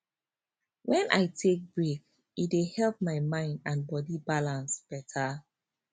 when i take break e dey help my mind and body balance better